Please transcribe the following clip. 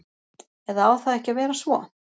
Eða á það ekki að vera svo?